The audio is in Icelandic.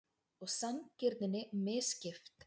Og sanngirninni misskipt.